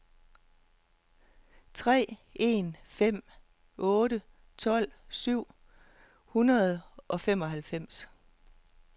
tre en fem otte tolv syv hundrede og femoghalvfems